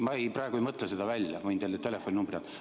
Ma ei mõtle seda välja, võin teile telefoninumbri anda.